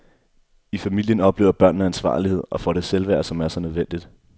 I familien oplever børnene ansvarlighed og får det selvværd, som er så nødvendigt.